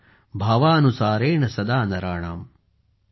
भाव अनुसारेण सदा नराणाम् ।।